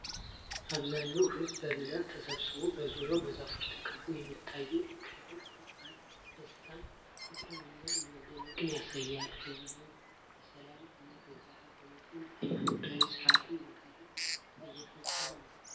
አብዛኛው ሕዝብ በብዛት ተሰብስቦ በዙሪያው በዛፎች ተከቦ የሚታየው ክብረ በዓል ደስታን፣ ፍቅርን እና መደነቅን ያሳያል። ሕዝቡ በሰላም እና በጋራ በመሆን ሃይማኖታዊ ሥርዓትን በጋራ እየፈጸመ ነው።